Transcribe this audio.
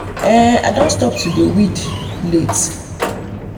i um don stop to dey weed um late.